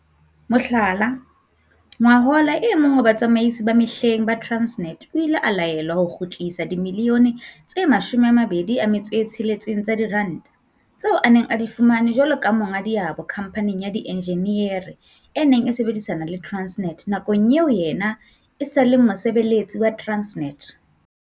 Mohlala, ngwahola e mong wa batsamaisi ba mehleng ba Transnet o ile a laelwa ho kgutlisa dimilione tse 26 tsa diranta tseo a neng a di fumane jwalo ka monga diabo khamphaneng ya dienjiniere e neng e sebedisana le Transnet nakong eo yena e sa leng mosebeletsi wa Transnet.